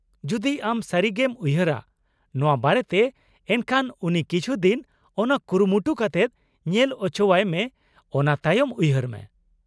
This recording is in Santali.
ᱡᱩᱫᱤ ᱟᱢ ᱥᱟᱹᱨᱤᱜᱮᱢ ᱩᱭᱦᱟᱹᱨᱟ ᱱᱚᱶᱟ ᱵᱟᱨᱮᱛᱮ ᱮᱱᱠᱷᱟᱱ ᱩᱱᱤ ᱠᱤᱪᱷᱩ ᱫᱤᱱ ᱚᱱᱟ ᱠᱩᱨᱩᱢᱩᱴᱩ ᱠᱟᱛᱮᱫ ᱧᱮᱞ ᱚᱪᱚᱣᱟᱭ ᱢᱮ ᱚᱱᱟ ᱛᱟᱭᱚᱢ ᱩᱭᱦᱟᱹᱨ ᱢᱮ ᱾